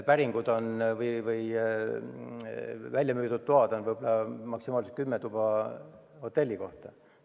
Hea, kui väljamüüdud tube on maksimaalselt kümme ühe hotelli kohta.